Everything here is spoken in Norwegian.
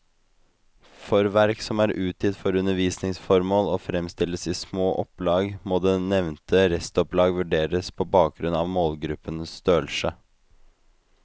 For verk som er utgitt for undervisningsformål og fremstilles i små opplag, må det nevnte restopplag vurderes på bakgrunn av målgruppens størrelse.